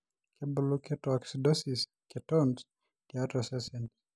kebulu ketoacidosis ketones tiatua osesen